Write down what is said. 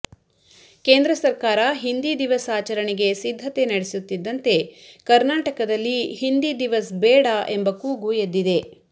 ಕೇಂದ್ರ ಸರ್ಕಾರ ಹಿಂದಿ ದಿವಸ್ ಆಚರಣೆಗೆ ಸಿದ್ಧತೆ ನಡೆಸುತ್ತಿದಂತೆ ಕರ್ನಾಟಕದಲ್ಲಿ ಹಿಂದಿ ದಿವಸ್ ಬೇಡ ಎಂಬ ಕೂಗು ಎದ್ದಿದೆ